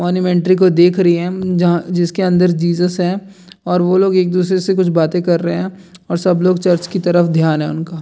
मोन्यूमेंट्री को देख रही हैं अम जहाँ जिसके अंदर जीसस है और वो लोग एक दूसरे से कुछ बातें कर रहे हैं और सब लोग चर्च की तरफ ध्यान है उनका।